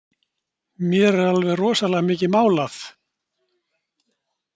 Mér er alveg rosalega mikið mál að